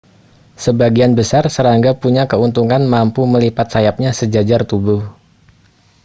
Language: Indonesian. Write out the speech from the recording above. sebagian besar serangga punya keuntungan mampu melipat sayapnya sejajar tubuh